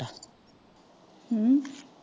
ਹਮ?